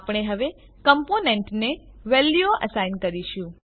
આપણે હવે કમ્પોનેન્ટને વેલ્યુઓ એસાઈન કરીશું